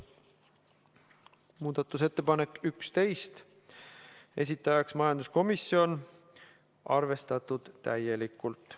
Muudatusettepanek nr 11, esitajaks majanduskomisjon, arvestatud täielikult.